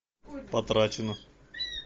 потрачено